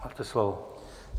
Máte slovo.